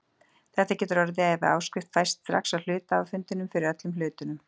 Þetta getur orðið ef áskrift fæst strax á hluthafafundinum fyrir öllum hlutunum.